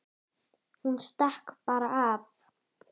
Hún stakk bara af.